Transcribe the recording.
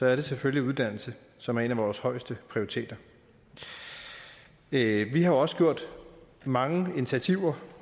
er det selvfølgelig uddannelse som er en af vores højeste prioriteter vi vi har også taget mange initiativer